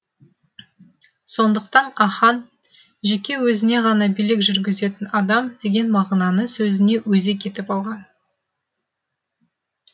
сондықтан ахаң жеке өзіне ғана билік жүргізетін адам деген мағынаны сөзіне өзек етіп алған